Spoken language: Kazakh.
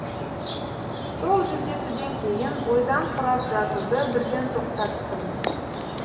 сол жүздесуден кейін ойдан құрап жазуды бірден тоқтаттым